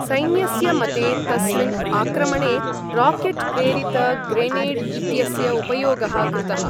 सैन्यस्य मते तस्मिन् आक्रमणे रॉकेट् प्रेरित ग्रेनेड् इत्यस्य उपयोगः कृतः ।